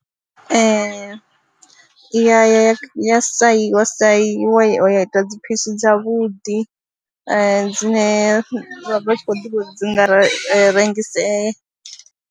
Ee, i ya ya ya sai saiwa ya ita dziphisi dzavhuḓi dzine vha vha tshi khou ḓivha uri dzi nga rengisea.